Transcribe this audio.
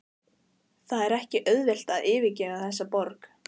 Það er ekki auðvelt að yfirgefa þessa borg.